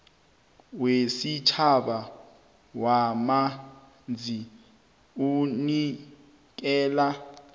wesitjhaba wamanzi unikela